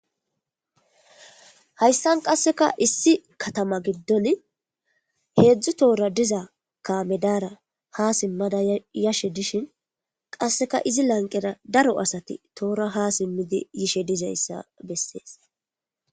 Hayssan qasseka issi kattama giiddon heezhzhu toohora diiza kaame daara ha simmada yishshe dishshin qasseka qasseka izzi laanqera daaro assati toohora ha simmidi yishshe diizayssa beses.